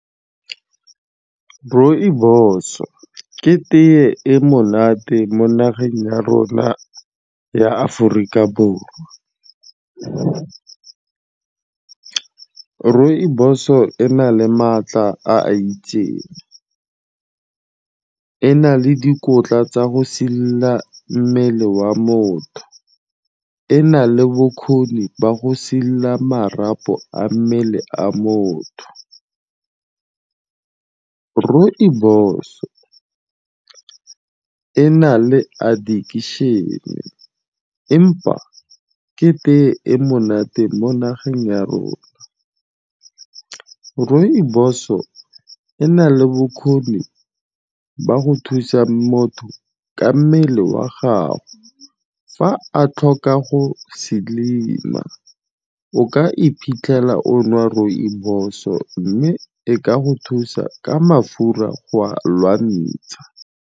Rooibos-o ke tee e monate mo nageng ya rona ya Aforika Borwa. Rooibos-o e na le maatla a a itseng. E na le dikotla tsa go sidila mmele wa motho, e na le bokgoni ba go sidila marapo a mmele a motho. Rooibos-o e na le addiction-e empa ke tee e monate mo nageng ya rona. Rooibos-o e na le bokgoni ba go thusa motho ka mmele wa gago fa a tlhoka go slim-a. O ka iphitlhela o nwa rooibos-o mme e ka go thusa ka mafura go a lwantsha.